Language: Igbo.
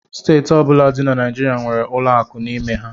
Steeti ọbụla dị na Naịjirịa nwere ụlọ akụ n'ime ha